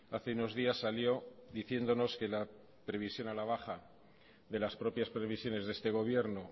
hace unos días salió diciéndonos que la previsión a la baja de las propias previsiones de este gobierno